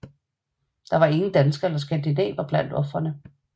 Der var ingen danskere eller skandinaver blandt ofrene